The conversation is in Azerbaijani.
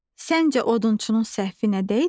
Səncə odunçunun səhvi nədə idi?